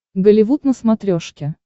голливуд на смотрешке